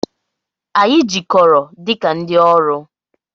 Anyị jikọrọ dị ka ndị ọrụ.